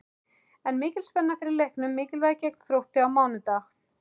Er mikil spenna fyrir leiknum mikilvæga gegn Þrótti á mánudag?